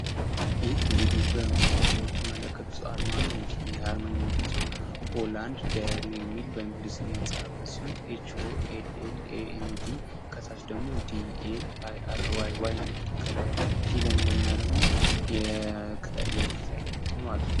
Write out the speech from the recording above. ይህ እንግዲህ በምስሉ ላይ የምትመለከቱት አርማ ነው። እንግዲህ ይህ አርማ የሚገልፀው "ሆላንድ ዲያሪ" ሚል በእንግሊዝኛ የተፃ ሲሆን ፤ኤች ኦ ኤሌ ኤል ኤ ኤን ዲ ከታች ደግሞ ዲ ኤ አይ አር ዋይ wይ እግዲህ ከላ ያላት ግዲ ላይ እንደገና ደግሞ የቅጠል ምልክት ያለበት ነው ማለት ነው።